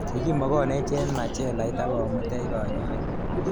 Kikimogonech eng machelait ak komuteech kanyoiik.